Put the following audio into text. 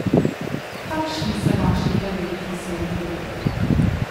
Kakšni so vaši prvi vtisi o klubu?